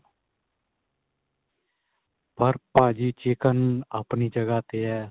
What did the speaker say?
ਪਰ ਭਾਜੀ chicken ਆਪਣੀ ਜਗ੍ਹਾ ਤੇ ਏ